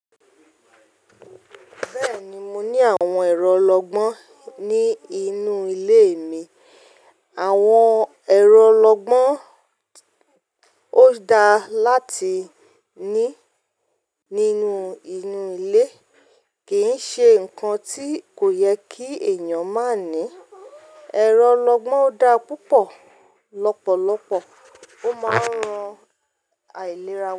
Bẹ́ẹ̀ni, mo ní àwọn ẹ̀rọ olọgbọ́n ní inú ilé mi. Àwọn ẹ̀rọ olọgbọ́n ó da láti ní nínú inú ilé kì í ṣe ǹkan tí kò yẹ kí ènìyàn má ní. Ẹ̀rọ olọgbọ́n da púpọ̀, lọ́pọ̀lọpọ̀ ó máa ń ran àìlera wa.